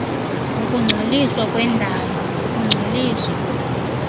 ukungcoliswa kwendalo ukungcoliswa